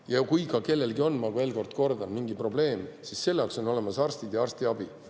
Ja kui kellelgi ongi mingi probleem, ma kordan veel, siis selle jaoks on olemas arstid ja arstiabi.